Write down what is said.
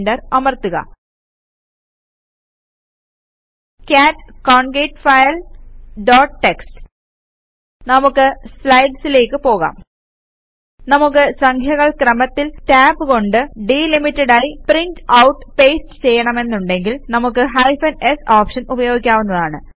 enter അമർത്തുക cat concat file dot TXT നമുക്ക് സ്ലൈഡ്സിലേക്ക് പോകാം നമുക്ക് സംഖ്യകൾ ക്രമത്തിൽ ടാബ് കൊണ്ട് ഡിലിമിറ്റഡ് ആയി പ്രിന്റ് ഔട്ട് പേസ്റ്റ് ചെയ്യണമെന്നുണ്ടങ്കിൽ നമുക്ക് ഹൈഫൻ s ഓപ്ഷൻ ഉപയോഗിക്കാവുന്നതാണ്